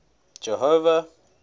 jehova